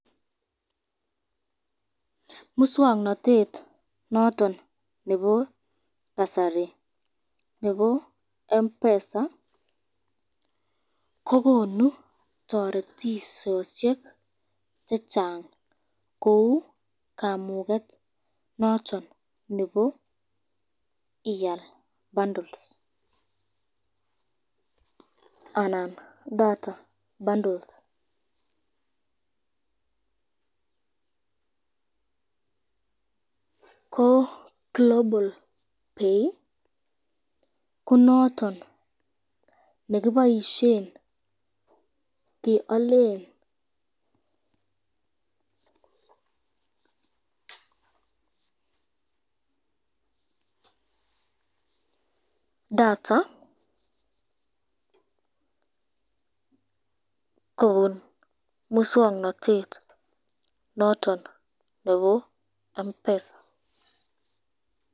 Muswoknotet noton nebo kasari nebo Mpesa ,ko konu teretisosyek chechang, kou kamuket noton nebo ial bundles, ama data bundles, ko global pay ko noton nekiboisyen kealen data kobun muswoknotet noton nebo Mpesa.